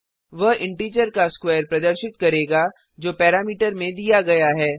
वह इंटिजर का स्क्वेर प्रदर्शित करेगा जो पैरामीटर में दिया गया है